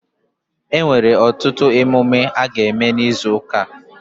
E nwere ọtụtụ emume a ga eme n'izu ụka a